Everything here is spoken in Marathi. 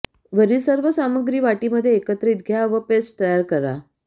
वरील सर्व सामग्री वाटीमध्ये एकत्रित घ्या व पेस्ट तयार करा